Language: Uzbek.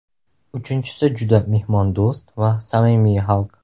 Uchinchisi juda mehmondo‘st va samimiy xalq.